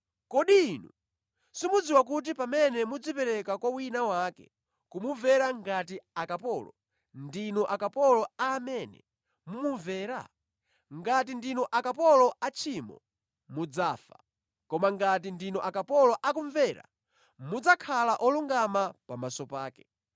Kodi inu simudziwa kuti pamene mudzipereka kwa wina wake, kumumvera ngati akapolo, ndinu akapolo a amene mumumvera? Ngati ndinu akapolo a tchimo mudzafa. Koma ngati ndinu akapolo akumvera, mudzakhala olungama pamaso pake.